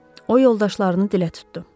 O yoldaşlarını dilə tutdu.